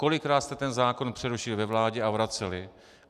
Kolikrát jste ten zákon přerušili ve vládě a vraceli?